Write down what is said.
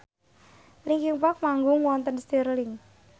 linkin park manggung wonten Stirling